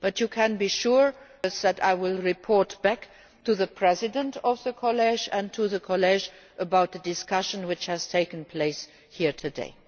You can be sure that I will report back to the President of the College and to the College about the discussion which has taken place here today.